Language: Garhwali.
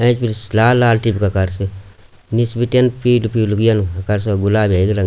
एंच भी सी लाल लाल टिपका कर सी निस बिटिन पीलू पीलू यन गुलाबी हेकू रंग --